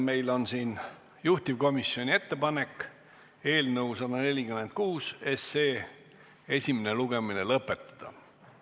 Meil on juhtivkomisjoni ettepanek eelnõu 146 esimene lugemine lõpetada.